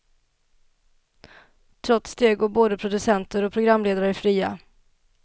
Trots det går både producenter och programledare fria.